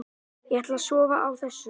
Ætla að sofa á þessu